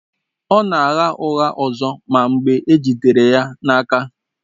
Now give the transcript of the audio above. Ọ na-agha ụgha ọzọ ma mgbe e jidere ya na-aka.